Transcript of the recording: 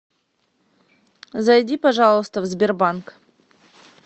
зайди пожалуйста в сбербанк